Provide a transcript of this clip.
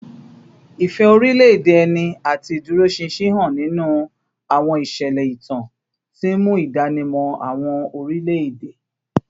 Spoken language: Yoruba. Ìfẹ́ orílẹ̀-èdè ẹni àti ìdúróṣinṣin hàn nínú àwọn ìṣẹ̀lẹ̀ ìtàn, tí ń mú ìdánimọ̀ àwọn orílẹ̀-èdè